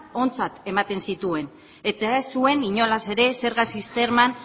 ontzat ematen zituen eta ez zuen inolaz ere zerga sisteman